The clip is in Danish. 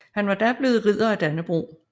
Han var da blevet Ridder af Dannebrog